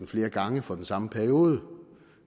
flere gange for den samme periode